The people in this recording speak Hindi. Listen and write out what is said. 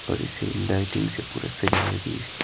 और इसे लाइटिंग से पूरा सजाया भि है।